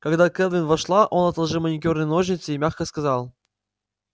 когда кэлвин вошла он отложил маникюрные ножницы и мягко сказал